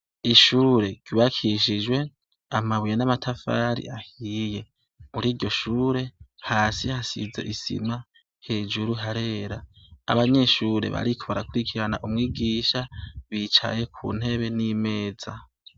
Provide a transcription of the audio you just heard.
Ishure ry'ubakishijwe amabuye n'amatafari ahiye, muriryo shure hasi hasize isima, hejuru harera, abanyeshure bariko barakurikirana umwigisha bicaye kuntebe n'imeza.